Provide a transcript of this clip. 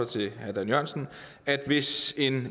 til herre dan jørgensen at hvis en